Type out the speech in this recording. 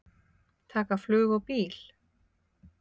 Taka flug og bíl?